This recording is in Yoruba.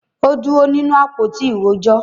Ó dúró nínú “ àpótí ìrojọ́”.